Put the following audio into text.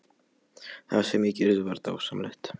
Það sem ég gerði var dásamlegt.